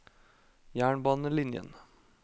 jernbanelinjen